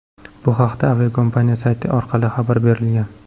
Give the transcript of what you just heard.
Bu haqda aviakompaniya sayti orqali xabar berilgan .